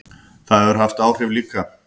Það hefur haft áhrif líka.